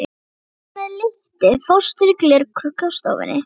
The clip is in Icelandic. Hann er með lítið fóstur í glerkrukku á stofunni.